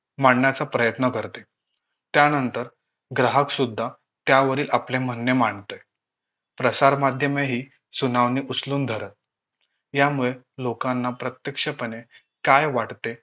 मांडण्याचा प्रयत्न करते त्यानंतर ग्राहक सुद्धा त्यावरील आपले म्हणणं मांडतय प्रसारमाध्यमेही सुनावणी उचलून धरत यामुळे लोकांना प्रत्यक्षपणे काय वाटते